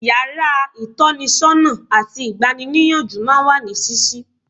Yàrá ìtọ́nisọ́nà àti ìgbani-níyànjú máa ń wà ní ṣíṣí.